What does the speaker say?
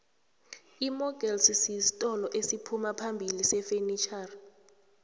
imokelsi sitolo esiphumaphambili sefenitjhoxa